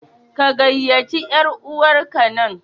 Ka gayyaci yar'uwarka nan!